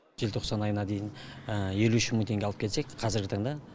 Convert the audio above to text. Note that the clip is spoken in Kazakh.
желтоқсан айына дейін елу үш мың теңге алып келсек қазіргі таңда